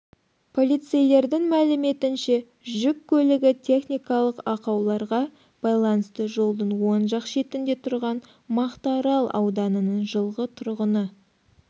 полицейлердің мәліметінше жүк көлігі техникалық ақауларға байланысты жолдың оң жақ шетінде тұрған мақтаарал ауданының жылғы тұрғыны